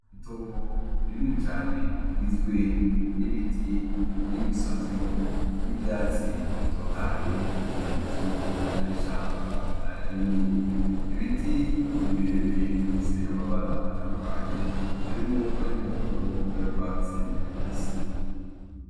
Itongo rinini cane rigizwe n’ibiti n’imisozi irimwo ivyatsi bitotahaye nk’ikimenyesto yuko ari ishamba rinini . Ibiti ni birebire bifise amabara atandukanye harimwo ay’umuhondo n’ayurwatsi rubisi .